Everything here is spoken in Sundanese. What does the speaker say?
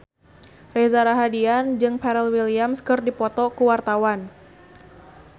Reza Rahardian jeung Pharrell Williams keur dipoto ku wartawan